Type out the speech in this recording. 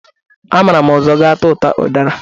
Amara m ụzụ gatụtụta ụdara.